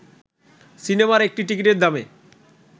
সিনেমার একটি টিকিটের দামে